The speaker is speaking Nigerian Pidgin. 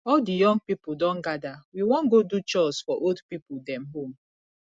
all di young pipo don gada we wan godo chores for old pipo dem home